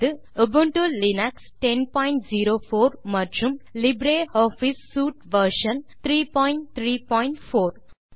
Ubuntu Linux 1004 மற்றும் LibreOffice suite version 334 ஐ பயன்படுத்துகிறோம்